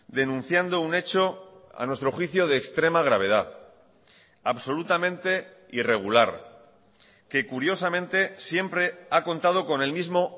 denunciando un hecho a nuestro juicio de extrema gravedad absolutamente irregular que curiosamente siempre ha contado con el mismo